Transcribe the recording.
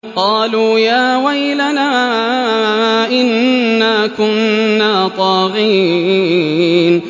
قَالُوا يَا وَيْلَنَا إِنَّا كُنَّا طَاغِينَ